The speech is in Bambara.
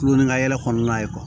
Kulon ni ka yɛlɛ kɔnɔna ye